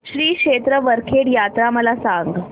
श्री क्षेत्र वरखेड यात्रा मला सांग